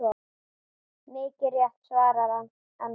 Mikið rétt svarar Arnar.